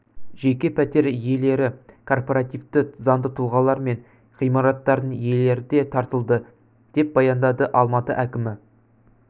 жеке пәтер иелері кооперативі заңды тұлғалар мен ғимараттардың иелері де тартылды деп баяндады алматы әкімі